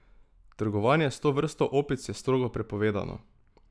Trgovanje s to vrsto opic je strogo prepovedano.